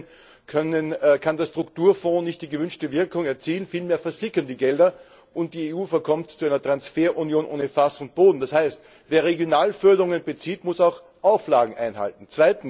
In diesen Fällen kann der Strukturfond nicht die gewünschte Wirkung erzielen, vielmehr versickern die Gelder, und die EU verkommt zu einer Transferunion ohne Fass und Boden, das heißt, wer Regionalförderungen bezieht, muss auch Auflagen einhalten.